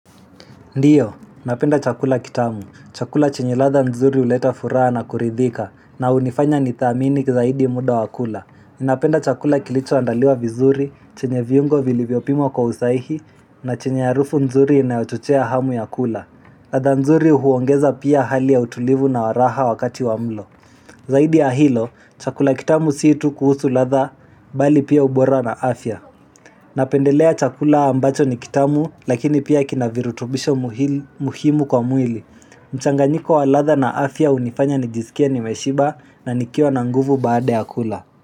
Ndiyo, napenda chakula kitamu. Chakula chenye ladha nzuri huleta furaha na kuridhika na hunifanya ni thamini kizaidi muda wa kula. Napenda chakula kilicho andaliwa vizuri, chenye viungo vilivyo pimwa kwa usaihi na chenye harufu nzuri inayochochea hamu ya kula. Ladha nzuri huongeza pia hali ya utulivu na wa raha wakati wa mlo. Zaidi ya hilo, chakula kitamu si tu kuhusu ladha bali pia ubora na afya. Napendelea chakula ambacho ni kitamu lakini pia kina virutubisho muhimu kwa mwili mchanganyiko wa ladha na afya hunifanya nijisikie nimeshiba na nikiwa na nguvu baada ya kula.